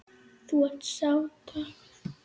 Nú er sá dagur kominn.